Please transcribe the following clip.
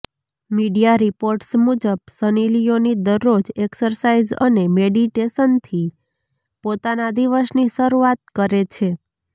media reports મુજબ Sunny Leone દરરોજ exercise અને મેડિટેશનથી પોતાના દિવસની સરુઆત કરે છે